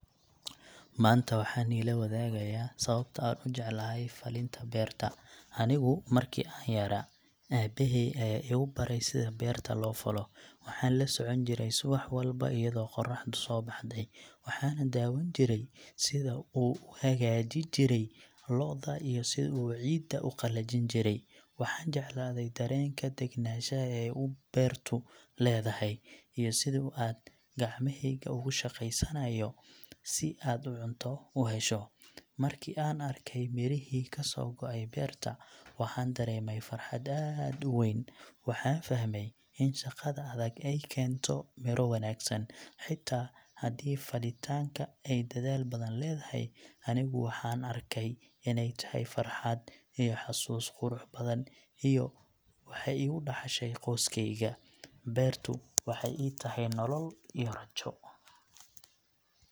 Maanta waxaan niila wadaagayaa sababta aan u jeclahay falinta beerta. Anigu marki aan yaraa, aabbahay ayaa igu baray sida beerta loo falo. Waxaan la socon jiray subax walba iyadoo qorraxdu soo baxday, waxaanan daawan jiray sida uu u hagijin jiray lo’da iyo sida uu ciidda u qalajin jiray. Waxaan jeclaaday dareenka degenaanshaha ee u beertu leedahay, iyo sida aad gacmaheyga ugu shaqaysanayo si aad cunto u hesho. Markii aan arkay mirihii ka soo go’ay beerta, waxaan dareemay farxad aad u weyn. Waxaan fahmay in shaqada adag ay keento miro wanaagsan. Xitaa haddii falitanka ay dadaal badan leedahay, anigu waxaan arkay inay tahay farxad iyo xasuus qurux badan iyo waxey igu dhaxashay qoyskayga. Beertu waxay ii tahay nolol iyo rajo.